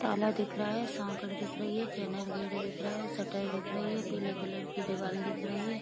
ताला दिख रहा है सांकड़ दिख रही है चैनल गेट दिख रहा है सटर दिख रही है पीले कलर की दीवाल दिख रही है।